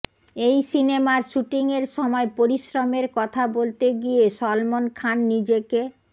এই সিনেমার শ্যুটিংয়ের সময় পরিশ্রমের কথা বলতে গিয়ে সলমন খান নিজেকে